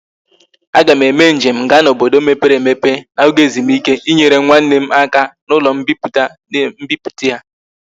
A ga m eme njem ga na obodo mepere emepe na oge ezumike inyere nwanne m aka na ulo mpiputa na mbiputa ya